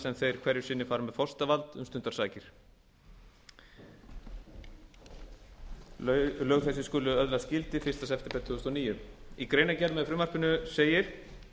sem þeir hverju sinni fara með forsetavald um stundarsakir lög þessi skulu öðlast gildi fyrsta september tvö þúsund og níu í greinargerð með frumvarpinu segir